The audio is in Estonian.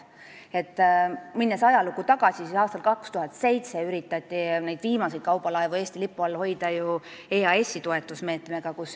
Kui ajalukku tagasi minna, siis aastal 2007 üritati neid viimaseid kaubalaevu Eesti lipu all hoida EAS-i toetusmeetmega.